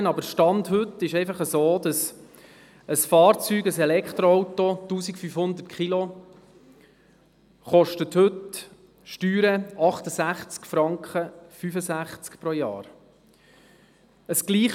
Allerdings ist der Stand von heute so, dass die Steuern für ein Elektroauto mit einem Gewicht von 1500 Kilogramm pro Jahr 65,65 Franken betragen.